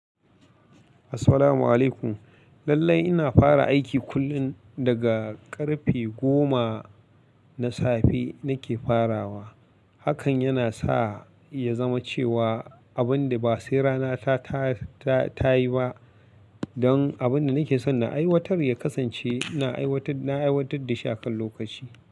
Assalamu'alaikum. Lallai ina fara aiki kullum daga karfe goma na safe nake farawa. Hakan yana sa ya zama cewa abin da ba sai rana ta, ta, ta yi ba don abin da nake son na aiwatar ya kasance na aiwatar, na aiwatar da shi a kan lokaci.